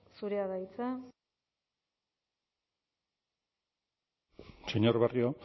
zurea da hitza señor barrio